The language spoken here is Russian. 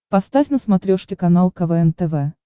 поставь на смотрешке канал квн тв